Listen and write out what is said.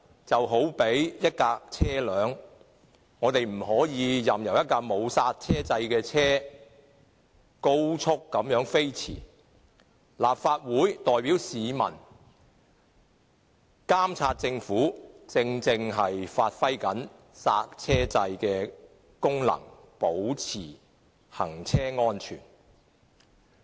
這有如一輛汽車，我們不能任由一輛沒有剎車掣的車高速飛馳，而立法會代表市民監察政府，正正就是發揮剎車掣的功能，為要確保行車安全。